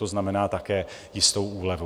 To znamená také jistou úlevu.